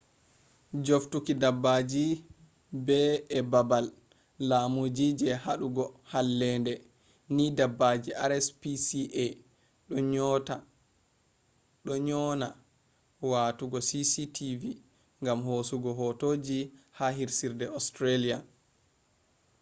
jooftuki dabbaji be e babal laamu je hadugo hallende ni dabbaji rspca doo nyonaa watugo cctv gam hosugo hotoji ha hirsirde australian